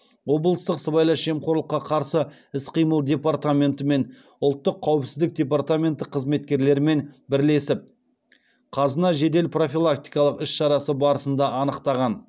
облыстық сыбайлас жемқорлыққа қарсы іс қимыл департаменті мен ұлттық қауіпсіздік департаменті қызметкерлерімен бірлесіп қазына жедел профилактикалық іс шарасы барысында анықтаған